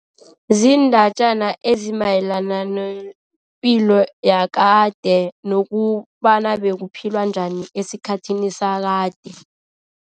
Ziindatjana ezimayelana nepilo yakade nokobana bekuphilwa njani esikhathini sakade.